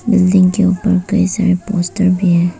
Building के उपर कई सारे पोस्टर भी है।